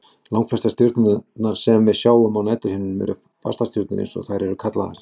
Langflestar stjörnurnar sem við sjáum á næturhimninum eru fastastjörnur eins og þær eru kallaðar.